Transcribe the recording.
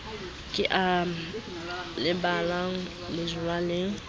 ke e lebang jwaleng ho